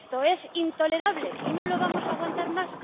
Y esto es intolerable, y no lo vamos a aguantar más.